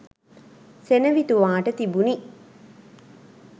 සෙනවිතුමාට තිබුණි.